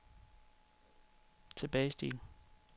tilbagestil